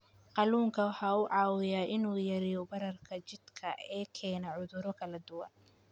Kalluunku waxa uu caawiyaa in uu yareeyo bararka jidhka ee keena cudurro kala duwan.